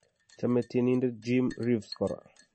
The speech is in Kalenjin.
Chame tienindet, Jim Reeves kora.